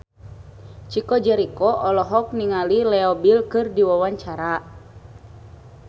Chico Jericho olohok ningali Leo Bill keur diwawancara